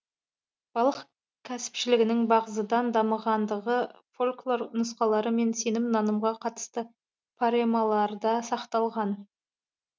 балық кәсіпшілігінің бағзыдан дамығандығы фольклор нұсқалары мен сенім нанымға қатысты паремаларда сақталған